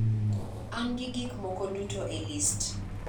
An gi gik moko duto e list